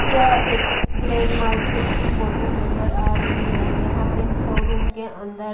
यह एक grain market की फोटो नजर आ रही है जहां पे शोरूम के अंदर--